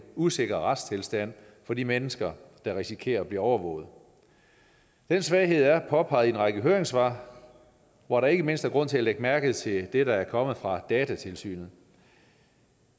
usikker retstilstand for de mennesker der risikerer at blive overvåget den svaghed er påpeget i en række høringssvar hvor der ikke mindst er grund til at lægge mærke til det der er kommet fra datatilsynet